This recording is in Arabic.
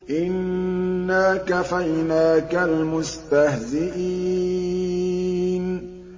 إِنَّا كَفَيْنَاكَ الْمُسْتَهْزِئِينَ